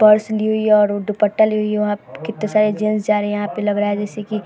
Purse ली हुई है और उ दुपट्टा ली हुई है। वहाँ पे किते सारे जेंट्स जा रहें हैं यहाँ पे लग रहा है जैसे की --